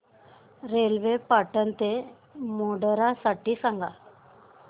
railway Patan ते मोढेरा साठी सांगा